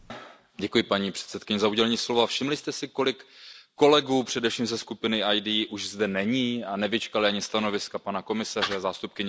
Paní předsedající, kolegové, všimli jste si, kolik kolegů především ze skupiny ID už zde není a nevyčkali ani stanoviska pana komisaře, zástupkyně Rady?